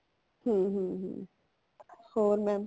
ਹੂ ਹੂ ਹੂ ਹੋਰ mam